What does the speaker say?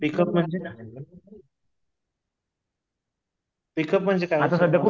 पीक उप म्हणजे पीक उप म्हणजे काय असत